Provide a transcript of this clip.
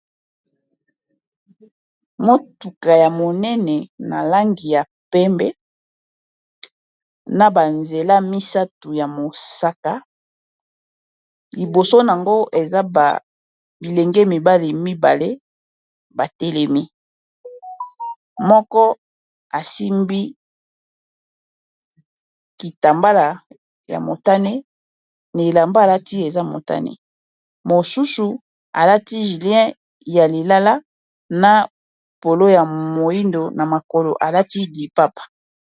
Motuka ya monene na langi ya pembe na ba nzela misato ya mosaka liboso nango eza ba bilenge mibali mibale batelemi moko asimbi kitambala ya motane na elamba alati eza motane mosusu alati jilien ya lilala na polo ya moyindo na makolo alati lipapa.